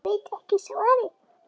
Ég veit ekki svarið.